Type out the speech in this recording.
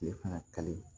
Tile fana kali